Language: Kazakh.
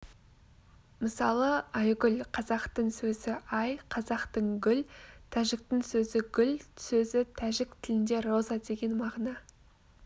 мысалы айгүл қазақтың сөзі ай қазақтың гүл тәжіктің сөзі гүл сөзі тәжік тілінде роза деген мағына